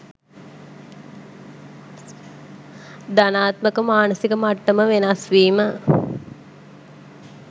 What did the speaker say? ධණාත්මක මානසික මට්ටම වෙනස්වීම